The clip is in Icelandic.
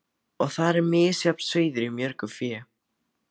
Og þar er misjafn sauður í mörgu fé.